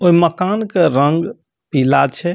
ओय मकान के रंग पीला छै।